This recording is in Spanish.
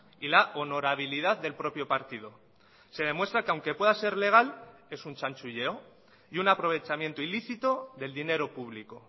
y la honorabilidad del propio partido se demuestra que aunque pueda ser legal es un chanchullo y un aprovechamiento ilícito del dinero público